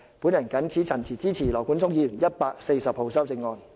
我謹此陳辭，支持羅冠聰議員提出的第140號修正案。